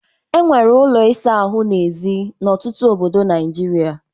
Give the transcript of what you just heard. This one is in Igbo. e wuru ụlọ ịsa ahụ n'èzí n'ọtụtụ obodo Nigeria